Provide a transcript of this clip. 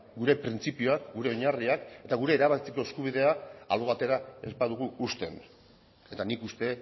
gure printzipioak gure oinarriak eta gure erabakitzeko eskubidea albo batera ez badugu uzten eta nik uste